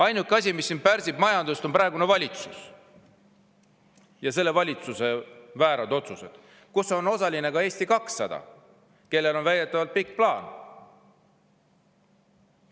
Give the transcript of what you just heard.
Ainuke asi, mis siin majandust pärsib, on praegune valitsus ja selle valitsuse väärad otsused, milles on osaline ka Eesti 200, kellel on väidetavalt pikk plaan.